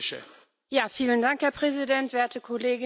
Herr Präsident, werte Kolleginnen und Kollegen!